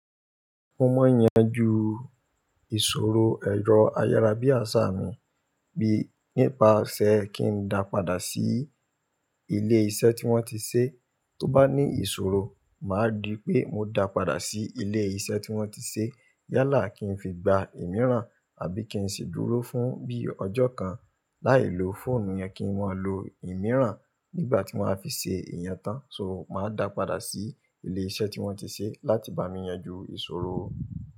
Mo maa n yanju ìṣòro ẹ̀rọ ayárabíàṣá mi bí nípa ṣé kí n dà padà sí ilé iṣẹ́ tí wọ́n ti ṣe, tó bá ní ìṣòro máa rí pé mo dà padà sí ilé iṣẹ́ tí wọ́n ti ṣe yálà kí n fi gba ìmíràn àbí kí n sì dúró fún bí ọjọ́ kan láìlo fóònù yẹn kí maa lo ìmíràn nígbà tí wọ́n a fi ṣe ìyen tán so máa dà padà sí ilé iṣẹ́ tí wọ́n ti ṣe láti bá mi yanjú ìṣòro.